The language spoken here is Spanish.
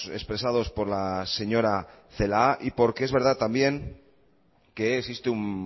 expresados por la señora celaá y porque es verdad también que existe un